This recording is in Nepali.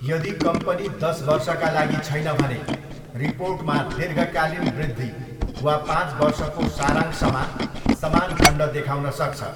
यदि कम्पनी दस वर्षका लागि छैन भने, रिपोर्टमा 'दीर्घकालीन वृद्धि' वा 'पाँच वर्षको सारांश' मा समान खण्ड देखाउन सक्छ।